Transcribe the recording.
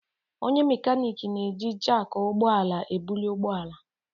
Onye mekaniiki na-eji jakị ụgbọ ala ebuli ụgbọ ala.